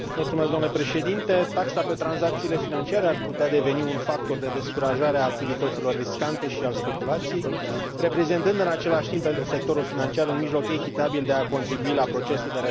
Taxa pe tranzacțiile financiare ar putea deveni un factor de descurajare a activităților riscante și al speculației, reprezentând în același timp, pentru sectorul financiar, un mijloc echitabil de a contribui la procesul de redresare economică.